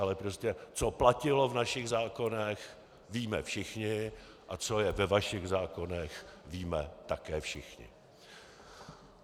Ale prostě co platilo v našich zákonech, víme všichni, a co je ve vašich zákonech, víme také všichni.